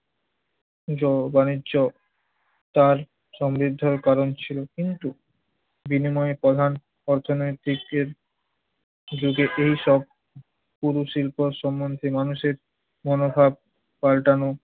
জল বাণিজ্য তার সমৃদ্ধির কারণ ছিল। কিন্তু বিনিময়ে প্রধান অর্থনীতিকের দিকে এই সব পুর শিল্প সম্মন্ধে মানুষের মনোভাব পাল্টানো